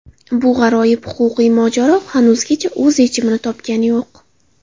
Bu g‘aroyib huquqiy mojaro hanuzgacha o‘z yechimini topgani yo‘q.